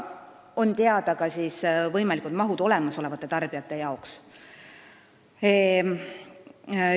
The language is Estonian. Ja on teada ka võimalik mõju olemasolevatele tarbijatele.